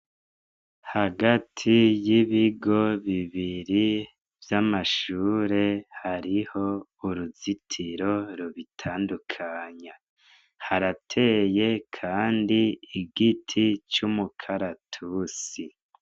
Hagati y'ibigo bibiri vy'amashure hariho uruzitiro rubitandukanya, harateye Kandi igiti c'umukaratusi.